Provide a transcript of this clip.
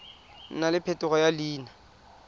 nna le phetogo ya leina